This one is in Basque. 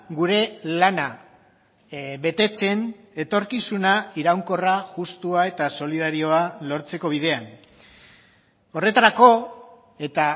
gure lana betetzen etorkizuna iraunkorra justua eta solidarioa lortzeko bidean horretarako eta